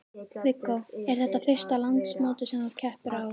Viggó: Er þetta fyrsta landsmótið sem að þú keppir á?